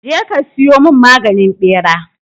Je ka siyo mun maganin ɓera!